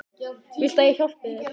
Viltu að ég hjálpi þér?